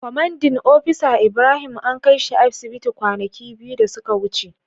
Commanding opisa Ibrahim an kai shi asibiti kwanaki biyu da suka wuce.